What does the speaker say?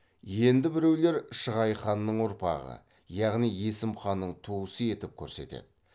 енді біреулер шығай ханның ұрпағы яғни есім ханның туысы етіп көрсетеді